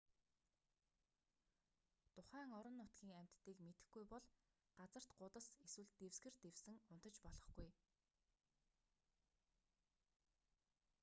тухайн орон нутгийн амьтдыг мэдэхгүй бол газарт гудас эсвэл дэвсгэр дэвсэн унтаж болохгүй